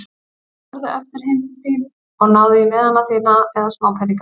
Farðu aftur heim til þín og náðu í miðana þína eða smápeninga.